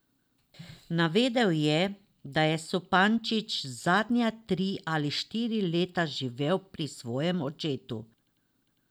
Navedel je, da je Supančič zadnja tri ali štiri leta živel pri svojem očetu.